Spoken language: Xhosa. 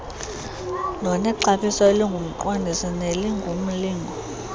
nonexabiso elingumqondiso nelingumlingo